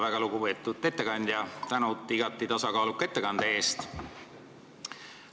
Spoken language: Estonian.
Väga lugupeetud ettekandja, suur tänu igati tasakaaluka ettekande eest!